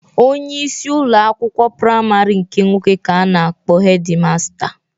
Onyeisi ụlọ akwụkwọ praịmarị nke nwoke ka a na-akpọ hedi masta.